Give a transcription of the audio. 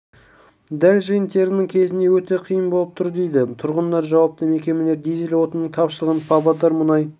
дәл жиын-терімнің кезінде өте қиын болып тұр дейді тұрғындар жауапты мекемелер дизель отынының тапшылығын павлодар мұнай